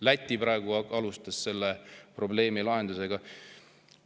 Läti alustas selle probleemi lahendamist.